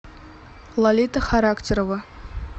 лолита характерова